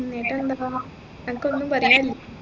അൻക്കൊന്നും പറയാനില്ലേ